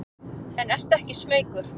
En ertu ekki smeykur?